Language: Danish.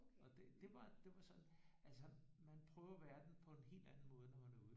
Og det var det var så altså man prøver verdenen på en helt anden måde når man er ude